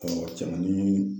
cɛmani